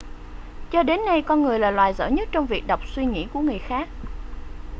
cho đến nay con người là loài giỏi nhất trong việc đọc suy nghĩ của người khác